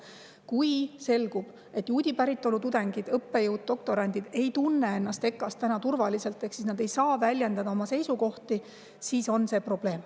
Kui selgub, et juudi päritolu tudengid, õppejõud, doktorandid ei tunne ennast EKA‑s täna turvaliselt ja nad ei saa väljendada oma seisukohti, siis on see probleem.